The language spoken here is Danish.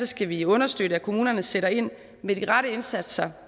skal vi understøtte at kommunerne sætter ind med de rette indsatser